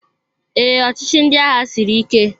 Ee, ọchịchị ndị agha siri ike